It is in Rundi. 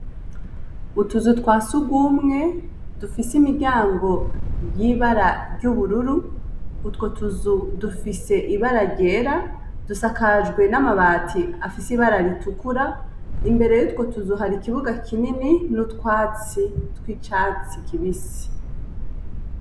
Utuzu twasugumwe dufise imiryango yibara ryubururu utwo tuzu dufise ibara ryera dusakajwe n'amabati afise ibara ritukura imbere yutwo tuzu hari ikibuga kinini n'utwasi twicatsi kibisi.